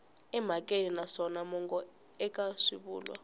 emhakeni naswona mongo eka swivulwa